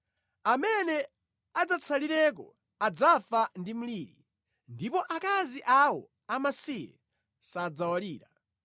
Amene adzatsalireko adzafa ndi mliri, ndipo akazi awo amasiye sadzawalira.